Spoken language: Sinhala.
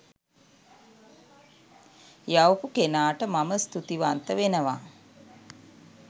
යවපු කෙනාට මම ස්තූති වන්ත වෙනවා.